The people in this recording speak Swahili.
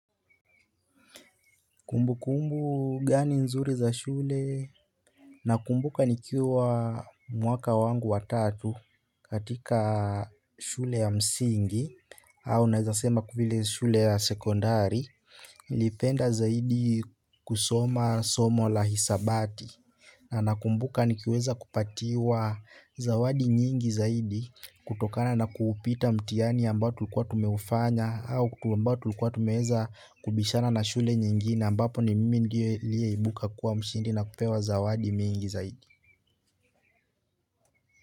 Kumbukumbu gani nzuri za shule. Nakumbuka nikiwa mwaka wangu wa tatu katika shule ya msingi. Au nawezasema kufile shule ya sekondari. Lipenda zaidi kusoma somo la hisabati. Na nakumbuka nikiweza kupatiwa zawadi nyingi zaidi. Kutokana na kuupita mtihani ambao tulikuwa tumeufanya au kutu ambao tulikuwa tumeweza kubishana na shule nyingine ambapo ni mimi ndiye liye ibuka kuwa mshindi na kupewa zawadi mingi zaidi.